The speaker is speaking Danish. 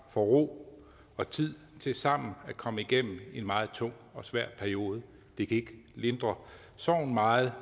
får ro og tid til sammen at komme igennem en meget tung og svær periode det kan ikke lindre sorgen meget